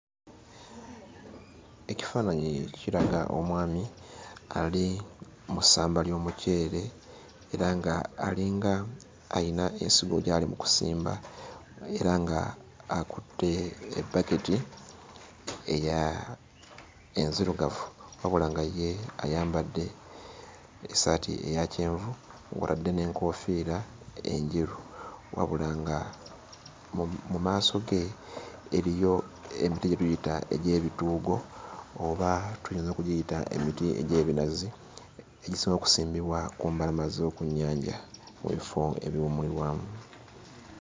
Ekifaananyi kiraga omwami ali mu ssamba ly'omuceere era ng'alinga alina ensigo gy'ali mu kusimba, era ng'akutte ebbaketi eya enzirugavu wabula nga ye ayambadde essaati eya kyenvu nga kw'otadde n'enkoofiira enjeru, wabula nga mu maaso ge eriyo emiti gye tuyita egy'ebituugo oba tuyinza okugiyita emiti egy'ebinazi egisobola okusimbibwa ku mbalama z'oku nnyanja mu bifo ebiwummulirwamu.